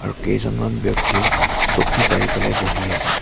আৰু কেইজনমান ব্যক্তিয়ে চকী পাৰি পেলাই বহি আছে।